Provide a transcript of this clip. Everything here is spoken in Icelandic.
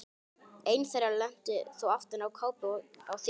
Ein þeirra lenti þó aftan á kápu á þýskri útgáfu.